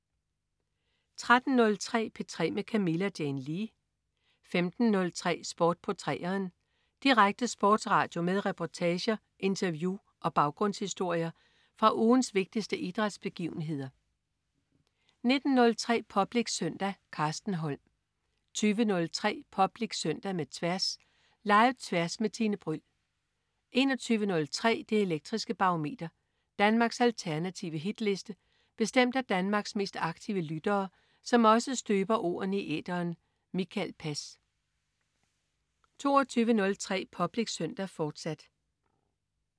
13.03 P3 med Camilla Jane Lea 15.03 Sport på 3'eren. Direkte sportsradio med reportager, interview og baggrundshistorier fra ugens vigtigste idrætsbegivenheder 19.03 Public Søndag. Carsten Holm 20.03 Public Søndag med Tværs. Live-Tværs med Tine Bryld 21.03 Det elektriske Barometer. Danmarks alternative hitliste bestemt af Danmarks mest aktive lyttere, som også støber ordene i æteren. Mikael Pass 22.03 Public Søndag, fortsat